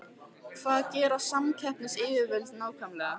Hvað gera samkeppnisyfirvöld nákvæmlega?